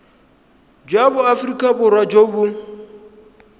jwa aforika borwa jo bo